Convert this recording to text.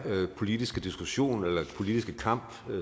politiske diskussion eller politiske kamp